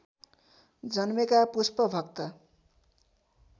जन्मेका पुष्पभक्त